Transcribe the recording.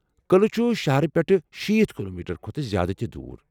قلعہٕ چُھ شہر پٮ۪ٹھہٕ شیٖتھ کلومیٹر کھۄتہٕ زیادٕ دوٗر۔